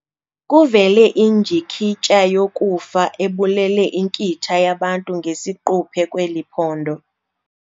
Kuvele indyikityha yokufa ebulele inkitha yabantu ngesiquphe kweli phondo.